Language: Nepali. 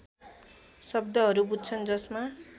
शब्दहरू बुझ्छन् जसमा